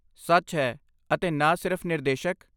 ਸੱਚ ਹੈ, ਅਤੇ ਨਾ ਸਿਰਫ ਨਿਰਦੇਸ਼ਕ।